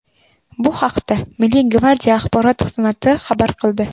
Bu haqda Milliy gvardiya axborot xizmati xabar qildi .